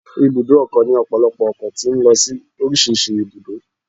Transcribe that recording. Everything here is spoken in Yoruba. Ibùdó ọkọ̀ ni ọpọlọpọ ọkọ̀ tó ń lọ sí orísìírísìí ibùdó